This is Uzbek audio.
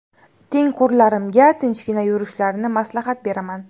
Tengqurlarimga tinchgina yurishlarini maslahat beraman.